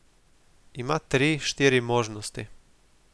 Ima tri, štiri možnosti.